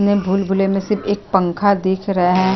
ने भूल-भुलैया में सिर्फ एक पंखा दिख रहा है।